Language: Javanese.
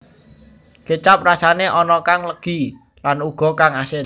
Kécap rasané ana kang legi lan ana uga kang asin